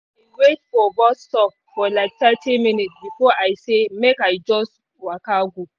wait for bus stop for like thirty minutes before i say make i just waka go